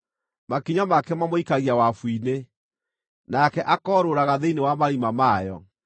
Makinya make mamũikagia wabu-inĩ, nake akoorũraga thĩinĩ wa marima mayo.